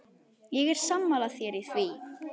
Ég er sammála þér í því.